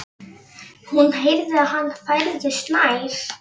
Hún heyrði að hann færðist nær.